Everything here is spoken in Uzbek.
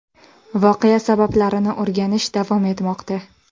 Voqea sabablarini o‘rganish davom etmoqda.